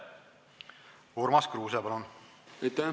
Urmas Kruuse, palun!